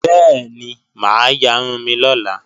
Bẹ́ẹ̀ni, mà á yarun mi lọ́la